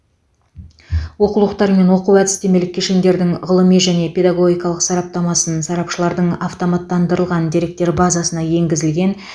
оқулықтар мен оқу әдістемелік кешендердің ғылыми және педагогикалық сараптамасын сарапшылардың автоматтандырылған деректер базасына енгізілген